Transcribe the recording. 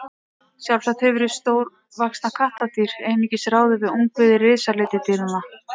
sjálfsagt hefur hið stórvaxna kattardýr einungis ráðið við ungviði risaletidýranna